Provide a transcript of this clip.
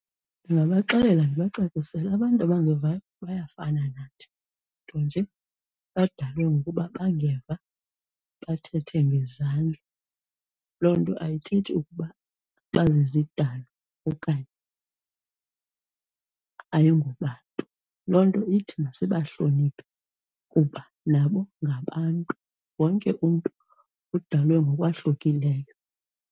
Ndingabaxelela ndibacacisele abantu abangevayo bayafana nathi, nto nje badalwe ngokuba bengeva bathethe ngezandla. Loo nto ayithethi ukuba bazizidalwa okanye ayingobantu. Loo nto ithi masibahloniphe kuba nabo ngabantu. Wonke umntu udulwe ngokwahlukileyo.